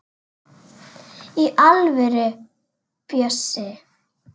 Í alvöru, Bjössi.